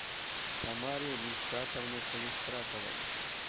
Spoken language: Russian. тамаре ришатовне калистратовой